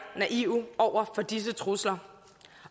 naive over for disse trusler